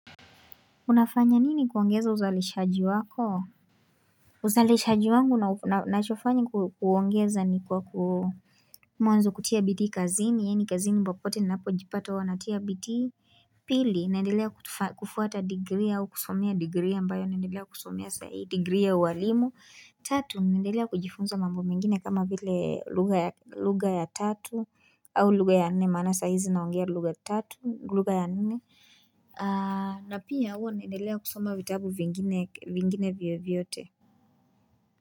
Unafanya nini kuongeza uzalishaji wako? Uzalishaji wangu nachofanya kuongeza ni kwa ku mwanzo kutia bidii kazini, yani kazini popote ninapojipata huwa natia bitii. Pili, naendelea kufuata degree au kusomea degree ambayo, naendelea kusomea sai degree ya uwalimu. Tatu, naendelea kujifunza mambo mengine kama vile lugha ya tatu au lugha ya nne, mana saa hizi naongea lugha tatu, lugha ya nene. Na pia uwa naendelea kusoma vitabu vingine vyovyote.